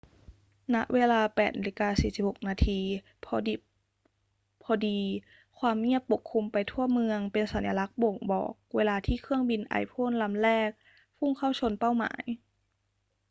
ณ เวลา 8.46 น พอดิบพอดี ความเงียบปกคลุมไปทั่วเมือง เป็นสัญลักษณ์บ่งบอกเวลาที่เครื่องบินไอพ่นลำแรกพุ่งเข้าชนเป้าหมาย